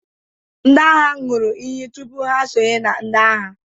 ndị agha ṅụrụ iyi tupu ha esonye na ndị agha